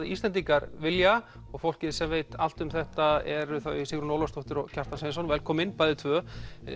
Íslendingar vilja og fólkið sem veit allt um þetta eru Sigrún Ólafsdóttir og Kjartan Sveinsson velkomin bæði tvö